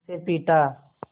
उसे पीटा